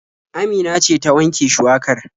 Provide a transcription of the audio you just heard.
Amina ce ta wanke shuwakar.